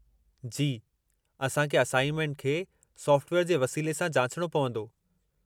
जी, असां खे असाइनमेंट खे सॉफ़्टवेयर जे वसीले सां जाचिणो पवंदो।